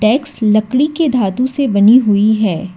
डैक्स लकड़ी के धातु से बनी हुई है।